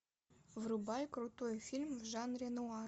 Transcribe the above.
врубай крутой фильм в жанре нуар